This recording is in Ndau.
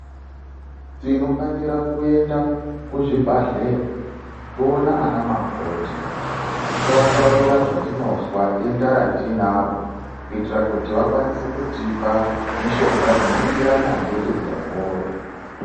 Tinofanira kuenda kuzvibhadhleya toone ana makoti tovataurira zvatinozwa demda ratinaro kuitira kuti vakwanise kutipa mushonga unoenderana nedenda iroro.